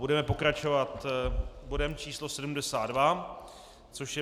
Budeme pokračovat bodem číslo 72, což je